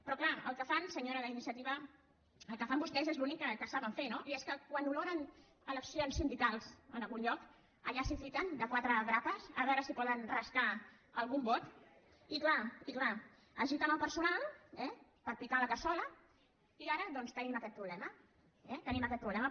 però és clar el que fan senyora d’iniciativa el que fan vostès és l’únic que saben fer no i és que quan oloren eleccions sindicals en algun lloc allà es fiquen de quatre grapes a veure si poden rascar algun vot i és clar i és clar agiten el personal eh per picar la cassola i ara doncs tenim aquest problema eh tenim aquest problema